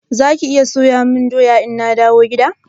Zaki iya soya mun doya ina dawo gida?